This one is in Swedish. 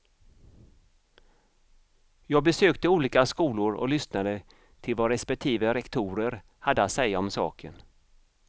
Jag besökte olika skolor och lyssnade till vad respektive rektorer hade att säga om saken.